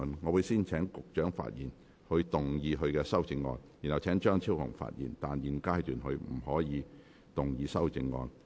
我會先請局長發言及動議他的修正案，然後請張超雄議員發言，但他在現階段不可動議修正案。